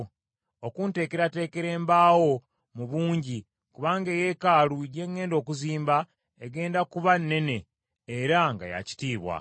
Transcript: okunteekerateekera embaawo mu bungi, kubanga eyeekaalu gye ŋŋenda okuzimba egenda kuba nnene era nga yaakitiibwa.